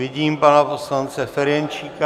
Vidím pana poslance Ferjenčíka.